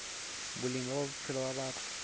boleng ba bophelo ba batho